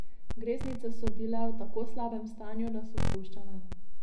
Greznice so bile v tako slabem stanju, da so puščale.